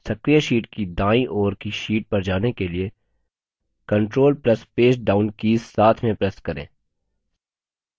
सक्रिय sheet की दाईं ओर की sheet पर जाने के लिए control plus page down keys साथ में press करें